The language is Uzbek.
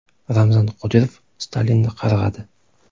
Ramzan Qodirov Stalinni qarg‘adi.